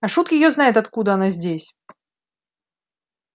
а шут её знает откуда она здесь